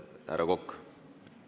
Härra Kokk!